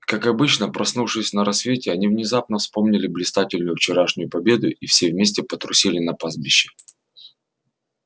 как обычно проснувшись на рассвете они внезапно вспомнили блистательную вчерашнюю победу и все вместе потрусили на пастбище